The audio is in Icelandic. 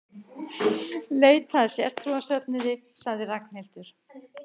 Leita að sértrúarsöfnuði sagði Ragnhildur.